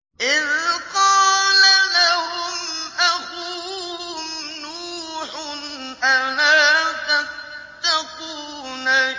إِذْ قَالَ لَهُمْ أَخُوهُمْ نُوحٌ أَلَا تَتَّقُونَ